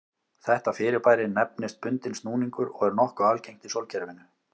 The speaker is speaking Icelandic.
Þetta fyrirbæri nefnist bundinn snúningur og er nokkuð algengt í sólkerfinu.